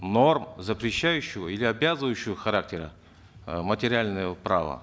норм запрещающего или обязывающего характера э материальное право